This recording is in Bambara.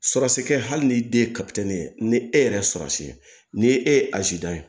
Surasi kɛ hali ni den ye ye ni e yɛrɛ ye sɔsi ni e ye azi dan ye